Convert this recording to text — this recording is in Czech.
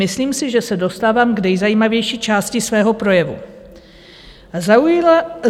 Myslím si, že se dostávám k nejzajímavější části svého projevu.